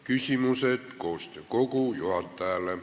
Küsimused koostöökogu juhatajale.